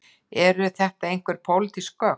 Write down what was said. Eru þetta einhver pólitísk gögn